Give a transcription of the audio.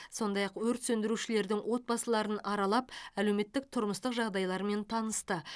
сондай ақ өрт сөндірушілердің отбасыларын аралап әлеуметтік тұрмыстық жағдайларымен танысты